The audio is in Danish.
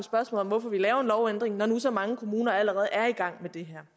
om hvorfor vi laver en lovændring når nu så mange kommuner allerede er i gang med det her